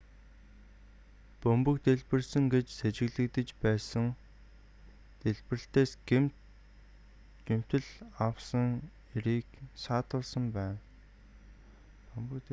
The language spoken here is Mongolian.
бөмбөг дэлбэлсэн гэж сэжиглэгдэж байсан дэлбэрэлтээс гэмтэл авсан эрийг саатуулсан байна